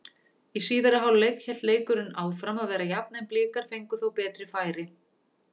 Í síðari hálfleik hélt leikurinn áfram að vera jafn en Blikar fengu þó betri færi.